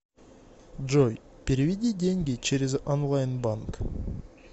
джой переведи деньги через онлайн банк